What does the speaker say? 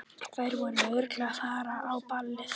Þær voru örugglega að fara á ballið.